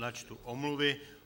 Načtu omluvy.